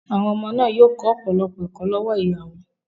Àwọn ọmọ náà yóò kọ́ ọ̀pọ̀lọpọ̀ ẹ̀kọ́ lọ́wọ́ ìyá wọn.